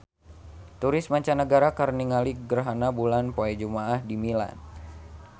Turis mancanagara keur ningali gerhana bulan poe Jumaah di Milan